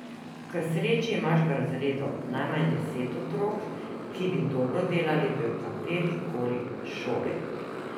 K sreči imaš v razredu najmanj deset otrok, ki bi dobro delali v katerikoli šoli.